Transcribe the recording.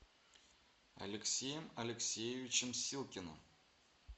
алексеем алексеевичем силкиным